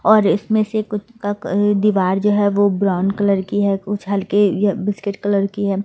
और इसमें से कुछ का दीवार जो है वो ब्राउन कलर की है कुछ हल्के ये बिस्किट कलर की है।